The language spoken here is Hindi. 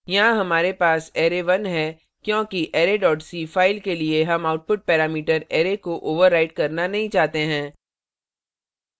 यहाँ हमारे पास array 1 है क्योंकि array dot c फ़ाइल के लिए हम output parameter array को overwrite करना नहीं चाहते हैं